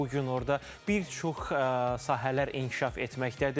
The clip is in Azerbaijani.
Bu gün orda bir çox sahələr inkişaf etməkdədir.